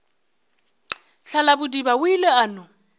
thalabodiba o ile a no